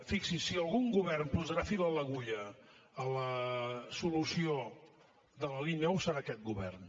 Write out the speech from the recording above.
fixi s’hi si algun govern posarà fil a l’agulla a la solució de la línia nou serà aquest govern